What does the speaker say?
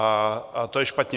A to je špatně.